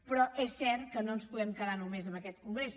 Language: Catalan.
però és cert que no ens podem quedar només amb aquest congrés